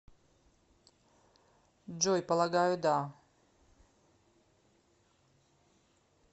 джой полагаю да